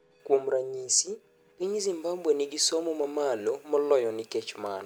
Kuom ranyisi piny Zimbabwe nigi somo mamalo moloyo nikech mano.